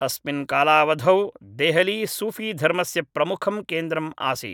अस्मिन् कालावधौ देहली सूफीधर्मस्य प्रमुखं केन्द्रम् आसीत्।